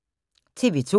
TV 2